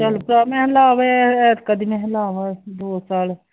ਕਦੀ ਮੈਂ ਕਿਹਾ ਲਾਵਾ ਦੋ ਸਾਲ